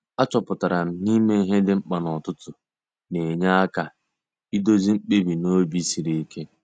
A chọpụtara m na-ime ihe dị mkpa n'ụtụtụ na-enye aka iduzi mkpebi n'obi sịrị ike.